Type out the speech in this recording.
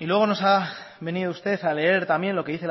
y luego nos ha venido usted a leer también lo que dice